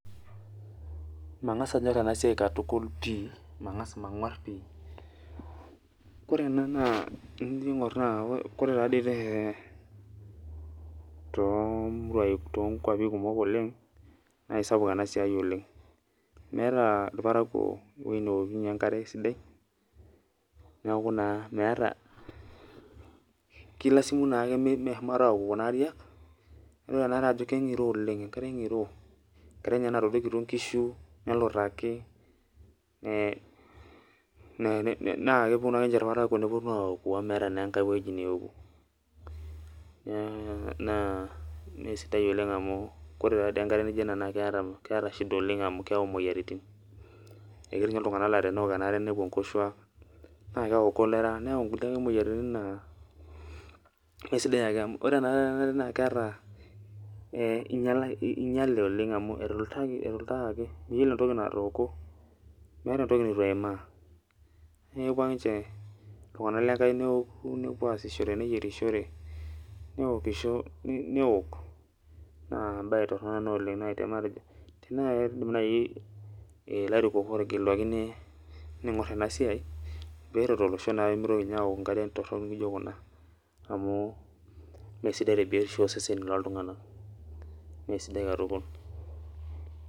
Mangas anyor ena siai pi katukul manguar pi ,ore ena naa ore toomuruai kuok naa kisapuk oleng ,meeta irparakuo eweji neokunye enkare sidai neeku naa kilasimu meshomo aoju kuna ariak ,nidol anare ajo keingiro oleng ,enkare ngiro ebaiki ninye netadoikitio nkishu ,nelutaki naa keponu ake ninche irparakuo neponu aoju amu meeta enkae weji neoku ,naa mesidai taadei oleng amu ore enkare naijo ena keeta shida oleng amu keyau moyiaritin, eketii ninye iltunganak laa teneok enare nepuo nkoshuak naa keyau cholera neyau nkulie ake moyiaritin. naa ore tenakata enaare naa einyale amu etulutakaki miyiolo entoki natooko meeta entoki neitu eimaa. naa keoku ake ninche iltunganak lenkai neesishore nepuo ayierishore neok naa embae torok ena oleng .tenaa keidim naaji ilarikok ootegeluaki neigor ena siai pee eret olosho pee mitoki ninye aok nkariak torok naijo kuna amu mesidai tebiotisho ooseseni looltunganak mesidai katukul.